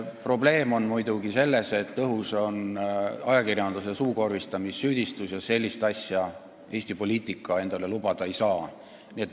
Probleem on muidugi selles, et õhus on ajakirjanduse suukorvistamise süüdistus, ja sellist asja Eesti poliitika endale lubada ei saa.